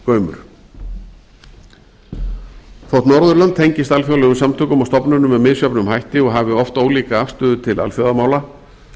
aukinn gaumur þótt norðurlönd tengist alþjóðlegum samtökum og stofnunum með misjöfnum hætti og hafi oft ólíka afstöðu til alþjóðamála